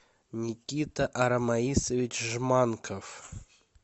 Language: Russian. никита арамаисович жманков